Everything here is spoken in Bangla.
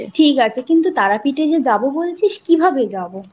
ঠিক আছে কিন্তু তারাপীঠ এ যে যাবো বলছিস কিভাবে যাবো?